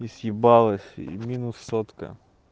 и съебалась и минус сотка